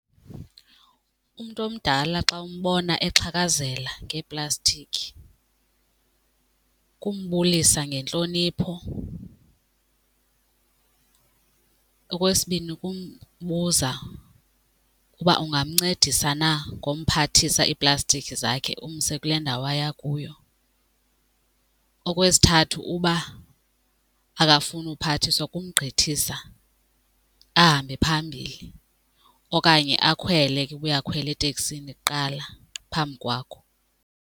Umntu omdala xa umbona exhakazela ngeeplastiki kumbulisa ngentlonipho. Okwesibini, kumbuza uba ungamncedisa na ngomphathisa iiplastiki zakhe umse kule ndawo aya kuyo. Okwesithathu, uba akafuni ukuphathiswa kumgqithisa ahambe phambili okanye akhwele ke uba uyakhwela eteksini kuqala phambi kwakho.